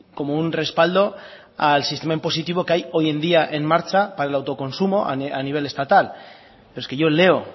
como un respaldo al sistema impositivo que hay hoy en día en marcha para el autoconsumo a nivel estatal es que yo leo